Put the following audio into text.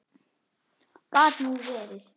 Gat nú verið